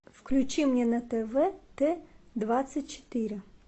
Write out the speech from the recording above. включи мне на тв т двадцать четыре